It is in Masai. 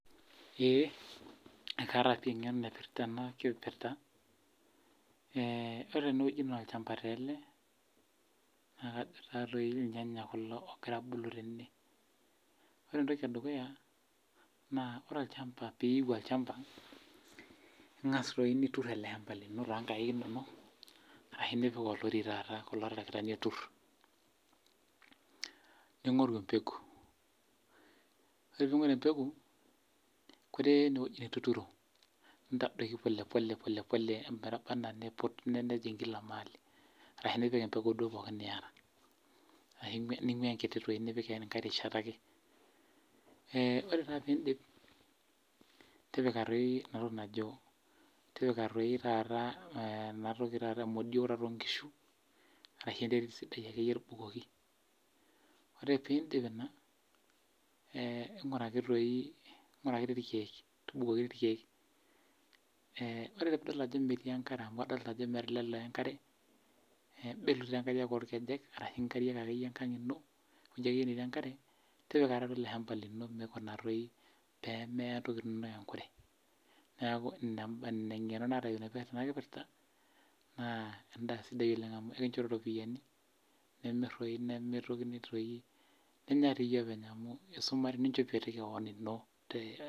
Ee, ekaata pi eng'eno naipirta ena kipirta, ore tenewueji naa olchamba tele, na kajo tatoi irnyanya kulo ogira abulu tene. Ore entoki edukuya, naa olchamba piu olchamba, ing'as toi nitur ele hamba lino tonkaik inonok ashu nipik olori taata kulo tarakitani otur. Ning'oru empeku. Ore ping'oru empeku, koree enewueji nituturo, ntadoki polepole polepole ometaba enaa niput nejing' kila maali. Arashu nipik empeku duo pookin niata. Ashu ning'ua enkiti toi nipik enkae rishata ake. Ah ore taa pidip, tipika toi enatoki najo, tipika toi taata enatoki taata imodio taata onkishu. Arashu enterit sidai akeyie tubukoki. Ore pidip ina, ng'uraki toi, ng'uraki irkeek, tubukoki irkeek. Ore pidol ajo metii enkare amu adol ajo meeta ele lee enkare, belu taa nkariak orkejek ashu nkariak akeyie enkang' ino, nijo ake enino enkare, tipika ilo hamba lino mikuna toi pemeya ntokiting inonok enkure. Neeku ina eng'eno naata nanu tena kipirta, naa sidai oleng' amu ekincho ti ropiyiani. Nimir toi nimitokini toi ninya tiyie openy amu isuma ninchopie toi keon ino.